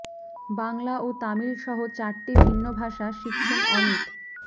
বাংলা ও তামিল সহ চারটি ভিন্ন ভাষা শিখছেন অমিত